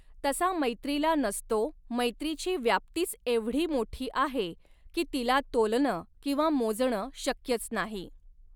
तसा मैत्रीला नसतो मैत्रीची व्याप्तीच एवढी मोठी आहे की तिला तोलनं किंवा मोजण शक्यच नाही.